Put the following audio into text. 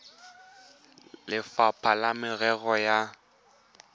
le lefapha la merero ya